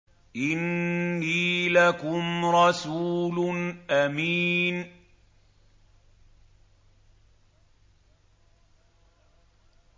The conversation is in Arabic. إِنِّي لَكُمْ رَسُولٌ أَمِينٌ